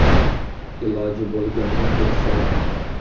Iloji bo‘lganda ketishardi.